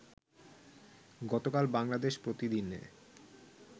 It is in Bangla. গতকাল বাংলাদেশ প্রতিদিনে